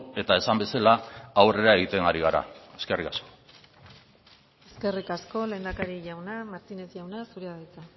eta esan bezala aurrera egiten ari gara eskerrik asko eskerrik asko lehendakari jauna martínez jauna zurea da hitza